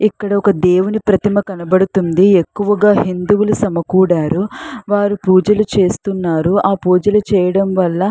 ఇక్కడ ఒక దేవుని ప్రతిమా కనబడుతుంది ఎక్కువగా హిందువులు సమకూడారు వారు పూజలు చేస్తున్నారు ఆ పూజలు చేయడం వాలా --